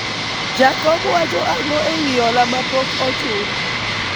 jakom wacho ang'o ewi hola mapok ochul ?